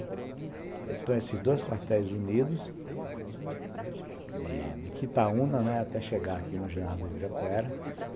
Então esses dois quartéis unidos, de Quitaúna, né, até chegar aqui no ginásio do Ibirapuera.